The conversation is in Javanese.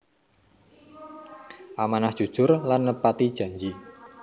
Amanah Jujur lan nepati janji